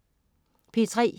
P3: